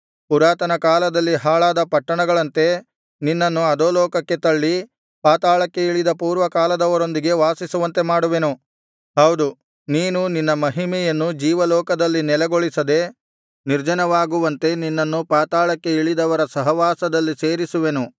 ಪುರಾತನ ಕಾಲದಲ್ಲಿ ಹಾಳಾದ ಪಟ್ಟಣಗಳಂತೆ ನಿನ್ನನ್ನು ಅಧೋಲೋಕಕ್ಕೆ ತಳ್ಳಿ ಪಾತಾಳಕ್ಕೆ ಇಳಿದ ಪೂರ್ವಕಾಲದವರೊಂದಿಗೆ ವಾಸಿಸುವಂತೆ ಮಾಡುವೆನು ಹೌದು ನೀನು ನಿನ್ನ ಮಹಿಮೆಯನ್ನು ಜೀವಲೋಕದಲ್ಲಿ ನೆಲೆಗೊಳಿಸದೆ ನಿರ್ಜನವಾಗುವಂತೆ ನಿನ್ನನ್ನು ಪಾತಾಳಕ್ಕೆ ಇಳಿದವರ ಸಹವಾಸದಲ್ಲಿ ಸೇರಿಸುವೆನು